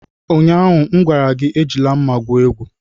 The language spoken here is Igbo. Ụnyaahụ m gwara gị, Ejila mma gwu egwu!